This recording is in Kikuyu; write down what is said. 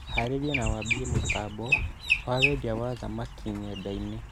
Harĩria na wambie mũtambo wa wendia wa thamaki nenda-inĩ